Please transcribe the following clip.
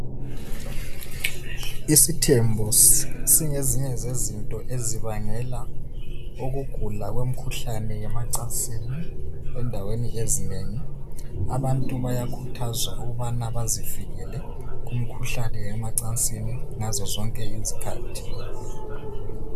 Isithembo singezinye zezinto ezibangela ukugula kwemikhuhlane yemacansini endaweni ezinengi abantu bayakhuthazwa ukubana bazivikele kumikhuhlane yemacansini ngazo zonke izikhathi